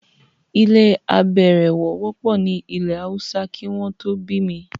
ilé -àbẹ̀ẹ̀rẹ̀wọ̀ wọ́pọ̀ ní ilẹ̀-haúsá kí wọ́n tó bí mi.